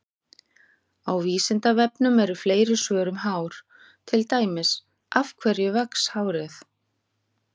Á Vísindavefnum eru fleiri svör um hár, til dæmis: Af hverju vex hárið?